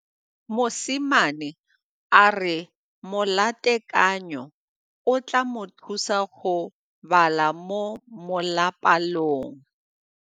Mosimane a re molatekanyô o tla mo thusa go bala mo molapalong.